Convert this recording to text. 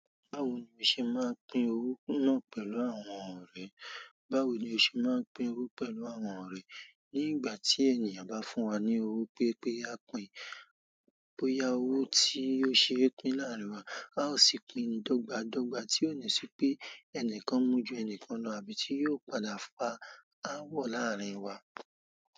Báwo ni o ṣe máa ń pín owó náà pẹ̀lú àwọn ọ̀rẹ́? Báwo ni o ṣe máa ń pín owó pẹ̀lú àwọn ọ̀rẹ́? Ní ìgbà tí ènìyàn bá fún wa ní owó pé pé a pìn, bóyá owó tí ó ṣe pín láàárín wa, a ó sì pín dọ́gba dọ́gba tí ó ní ṣé pé ẹnìkan mú ju ẹni kan lọ àbí tí yóò padà fa áawọ̀ láàárín wa.